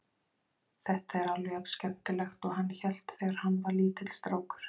Þetta er alveg jafnskemmtilegt og hann hélt þegar hann var lítill strákur.